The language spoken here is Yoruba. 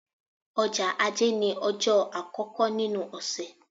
Ọjọ́ Ajé ní ọjọ́ àkọ́kọ́ nínú ọ̀sẹ̀.